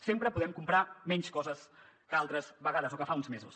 sempre podem comprar menys coses que altres vegades o que fa uns mesos